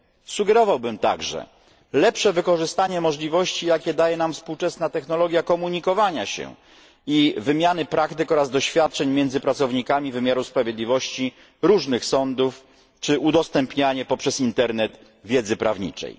Sugerowałbym także lepsze wykorzystanie możliwości, jakie daje nam współczesna technologia komunikowania się i wymiany praktyk oraz doświadczeń między pracownikami wymiaru sprawiedliwości różnych sądów czy udostępnianie poprzez internet wiedzy prawniczej.